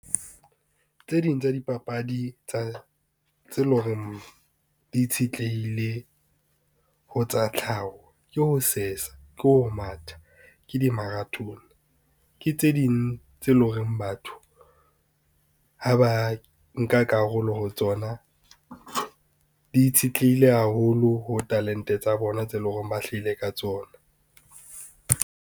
Tse ding tsa dipapadi tse lo reng di itshetlehile ho tsa tlhaho, ke ho sesa, ke ho matha, ke di-marathon, ke tse ding tse leng hore batho, ha ba nka karolo ho tsona, di itshetlehile haholo ho talente tsa bona tse leng hore ba hlaile ka tsona.